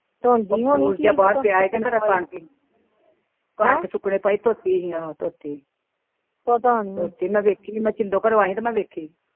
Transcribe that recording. ਧੋਂਦੀ ਹੋਣੀ ਕਣਕ ਸੁਕਣੀ ਪਾਈ ਧੋਤੀ ਹਾ ਧੋਤੀ ਮੈ ਦੇਖੀ ਮੈ ਸਿੰਦੋ ਘਰੋ ਆਈ ਤਾ ਮੈ ਵੇਖੀ